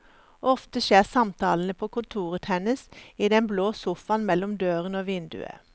Ofte skjer samtalene på kontoret hennes, i den blå sofaen mellom døren og vinduet.